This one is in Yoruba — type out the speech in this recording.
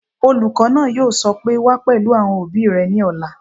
Olùkọ́ náà yóò sọ pé "wá pẹ̀lú àwọn òbí rẹ ní ọ̀la!"